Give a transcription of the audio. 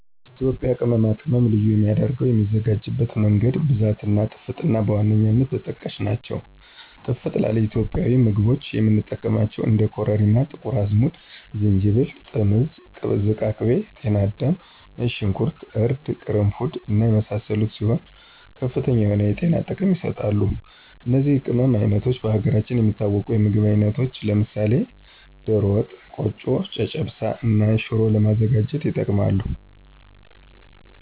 ኢትዮጵያ ቅመማ ቅመም ልዩ የሚያደረገው የሚዘጋጅበት መንገድ፣ ብዛት እና ጥፍጥና በዋነኛነት ተጠቃሽ ናቸው። ጥፍጥ ላለ ኢትዮጵያዊ ምግቦች የምንጠቀማቸው እንደ ኮረሪማ፣ ጥቁር አዝሙድ፣ ዝንጅብል፣ ጥምዝ፣ ዝቃቅቤ፣ ጤናዳም፣ ነጭ ሾንኩርት፣ እርድ፣ ቅርንፉድ እና የመሳሰሉት ሲሆኑ ከፍተኛ የሆነ የጤና ጥቅም ይሰጣሉ። እነዚህ የቅመም አይነቶች በሀገራችን የሚታወቁ የምግብ አይነቶች ለምሳሌ ደሮ ወጥ፣ ቆጮ፣ ጨጨብሳ እና ሽሮ ለማዘጋጀት ይጠቅማሉ።